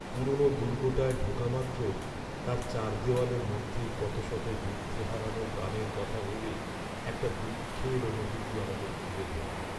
পুরনো দুর্গটায় ঢোকামাত্র তার চার দেওয়ালের মধ্যে কত শত যুদ্ধে হারানো প্রাণের কথা ভেবে একটা দুঃখের অনুভূতি আমাদের ঘিরে ধরলো।